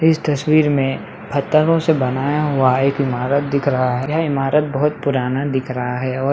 इस तस्वीर में पत्थरों से बनाया हुआ एक इमारत दिख रहा है यह इमारत बहुत पुराना दिख रहा है और --